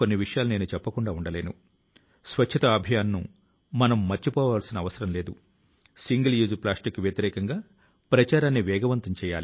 దీని కోసం ఈ రోజు నుండి మనం ఒక్క క్షణం కూడా వృథాపోనివ్వకుండా ఒక్క కణాన్ని కూడా కోల్పోకుండా పని చేయాలి